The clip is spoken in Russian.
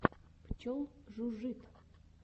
пчел жужжит